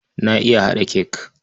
Na iya haɗa cake.